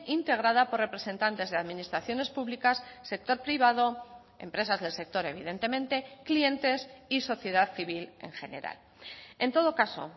integrada por representantes de administraciones públicas sector privado empresas del sector evidentemente clientes y sociedad civil en general en todo caso